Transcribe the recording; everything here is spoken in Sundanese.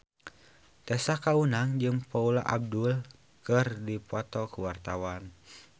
Tessa Kaunang jeung Paula Abdul keur dipoto ku wartawan